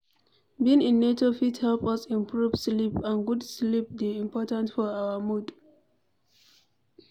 Being in nature fit help us improve sleep and good sleep dey important for our mood